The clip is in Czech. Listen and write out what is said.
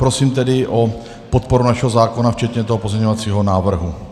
Prosím tedy o podporu našeho zákona včetně toho pozměňovacího návrhu.